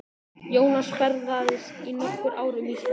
Jónas ferðaðist í nokkur ár um Ísland.